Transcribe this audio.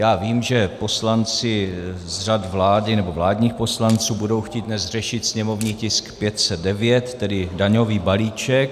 Já vím, že poslanci z řad vlády nebo vládních poslanců budou chtít dnes řešit sněmovní tisk 509, tedy daňový balíček.